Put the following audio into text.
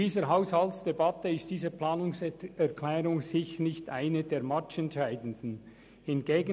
Diese Planungserklärung gehört sicher nicht zu den matchentscheidenden dieser Haushaltsdebatte.